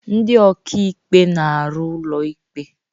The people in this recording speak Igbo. Ndị ọka ikpe na-arụ n'ụlọ ikpe.